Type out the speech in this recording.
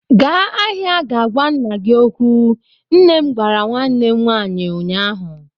Gaa n'ahịa ga gwa nna gị okwu! Nne m gwara nwanne m nwaanyi ụnyaahụ.